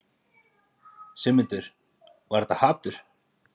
Sigmundur: Var þetta hatur?